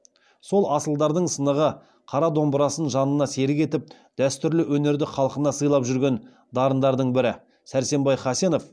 сол асылдардың сынығы қара домбырасын жанына серік етіп дәстүрлі өнерді халқына сыйлап жүрген дарындардың бірі сәрсенбай хасенов